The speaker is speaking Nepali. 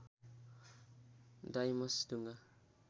डाइमस ढुङ्गा